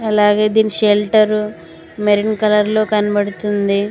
అలాగే దీని shelter maroon colour లో కనబడుతుంది.